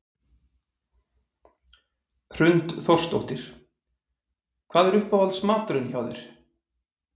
Hrund Þórsdóttir: Hvað er uppáhalds maturinn hjá þér?